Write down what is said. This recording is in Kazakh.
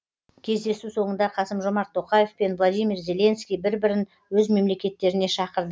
кездесу соңында қасым жомарт тоқаев пен владимир зеленский бір бірін өз мемлекеттеріне шақырды